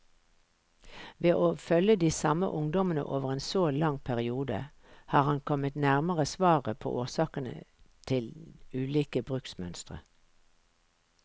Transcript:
Ved å følge de samme ungdommene over en så lang periode, har han kommet nærmere svaret på årsakene til ulike bruksmønstre.